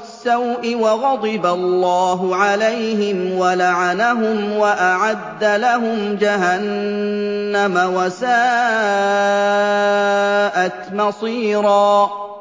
السَّوْءِ ۖ وَغَضِبَ اللَّهُ عَلَيْهِمْ وَلَعَنَهُمْ وَأَعَدَّ لَهُمْ جَهَنَّمَ ۖ وَسَاءَتْ مَصِيرًا